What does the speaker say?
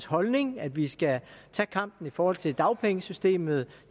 holdning at vi skal tage kampen i forhold til dagpengesystemet